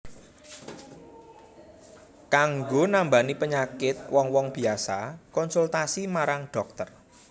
Kanggo nambani penyakit wong wong biasa konsultasi marang dhokter